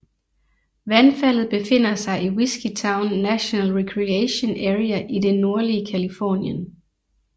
Vandfaldet befinder sig i Whiskeytown National Recreation Area i det nordlige Californien